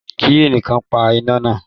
Ki ẹnìkan pa iná náà.